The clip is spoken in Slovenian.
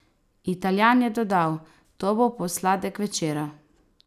Italijan je dodal: "To bo posladek večera.